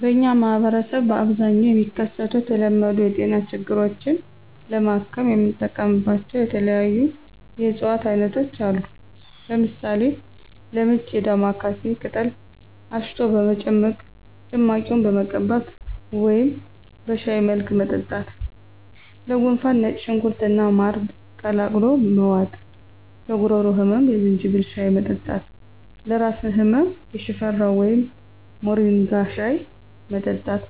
በእኛ ማህበረሰብ በአብዛኛው የሚከሰቱ የተለመዱ የጤና ችግሮችን ለማከም የምንጠቀምባቸው የተለያዩ የእፅዋት አይነቶች አሉ። ለምሳሌ፦ -ለምች የዳማካሴ ቅጠል አሽቶ በመጭመቅ ጭማቂውን መቀባት ወደም በሻይ መልክ መጠጣት -ለጉንፋን ነጭ ሽንኩርት እና ማር ቀላቅሎ መዋጥ -ለጉሮሮ ህመም የዝንጅብል ሻይ መጠጣት -ለራስ ህመም የሽፈራው ወይም ሞሪንጋ ሻይ መጠጣት